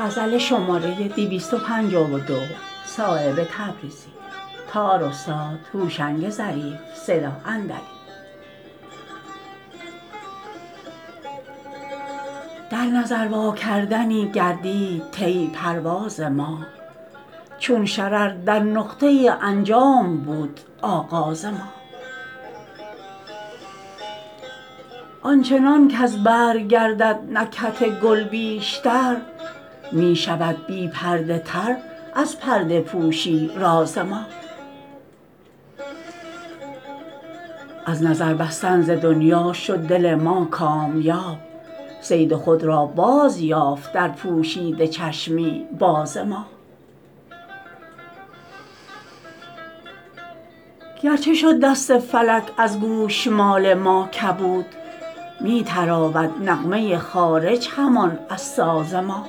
در نظر واکردنی گردید طی پرواز ما چون شرر در نقطه انجام بود آغاز ما آنچنان کز برگ گردد نکهت گل بیشتر می شود بی پرده تر از پرده پوشی راز ما از نظر بستن ز دنیا شد دل ما کامیاب صید خود را بازیافت در پوشیده چشمی باز ما گرچه شد دست فلک از گوشمال ما کبود می تراود نغمه خارج همان از ساز ما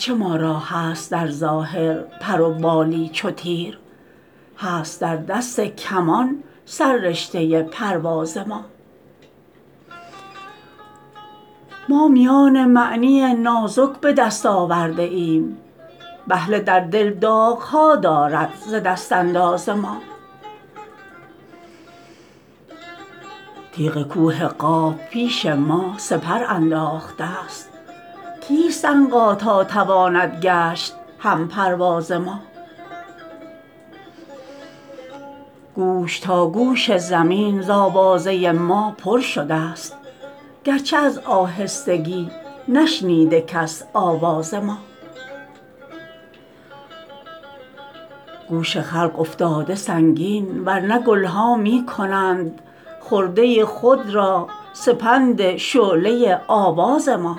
گرچه ما را هست در ظاهر پر و بالی چو تیر هست در دست کمان سر رشته پرواز ما ما میان معنی نازک به دست آورده ایم بهله در دل داغ ها دارد ز دست انداز ما تیغ کوه قاف پیش ما سپر انداخته است کیست عنقا تا تواند گشت هم پرواز ما گوش تا گوش زمین ز آوازه ما پر شده است گرچه از آهستگی نشنیده کس آواز ما گوش خلق افتاده سنگین ورنه گلها می کنند خرده خود را سپند شعله آواز ما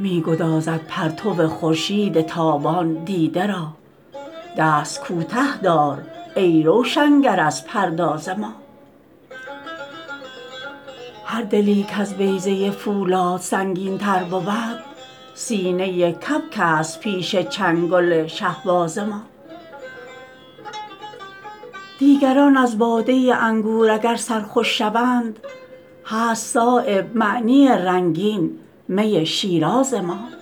می گدازد پرتو خورشید تابان دیده را دست کوته دار ای روشنگر از پرداز ما هر دلی کز بیضه فولاد سنگین تر بود سینه کبک است پیش چنگل شهباز ما دیگران از باده انگور اگر سرخوش شوند هست صایب معنی رنگین می شیراز ما